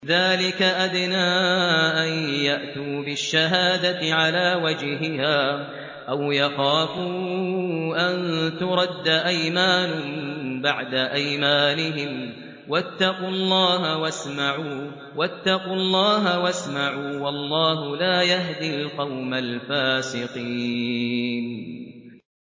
ذَٰلِكَ أَدْنَىٰ أَن يَأْتُوا بِالشَّهَادَةِ عَلَىٰ وَجْهِهَا أَوْ يَخَافُوا أَن تُرَدَّ أَيْمَانٌ بَعْدَ أَيْمَانِهِمْ ۗ وَاتَّقُوا اللَّهَ وَاسْمَعُوا ۗ وَاللَّهُ لَا يَهْدِي الْقَوْمَ الْفَاسِقِينَ